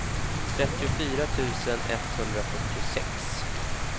trettiofyra tusen etthundrafyrtiosex